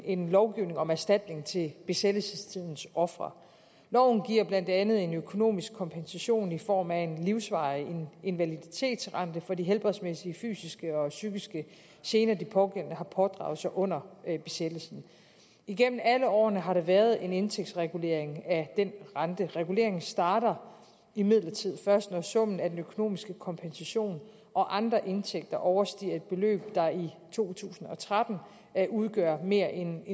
en lov om erstatning til besættelsestidens ofre loven giver blandt andet en økonomisk kompensation i form af en livsvarig invaliditetsrente for de helbredsmæssige fysiske og psykiske gener de pågældende har pådraget sig under besættelsen igennem alle årene har der været en indtægtsregulering af den rente reguleringen starter imidlertid først når summen af den økonomiske kompensation og andre indtægter overstiger et beløb der i to tusind og tretten udgør mere end